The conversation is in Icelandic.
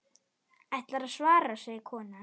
Ætlarðu að svara, segir konan.